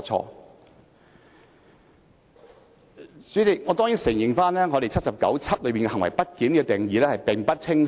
代理主席，我當然認同《基本法》第七十九條第七項中對"行為不檢"作出的定義並不清晰。